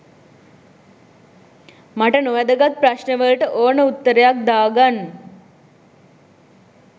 මට නොවැදගත් ප්‍රශ්නවලට ඕන උත්තරයක් දා ගන්